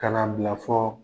Ka na bila fɔ